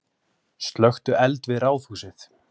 Slökktu eld við Ráðhúsið